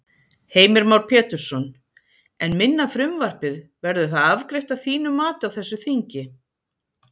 Heimir Már Pétursson: En minna frumvarpið, verður það afgreitt að þínu mati á þessu þingi?